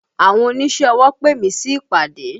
Àwọn oníṣẹ́ ọwọ pè mí sí ìpàdé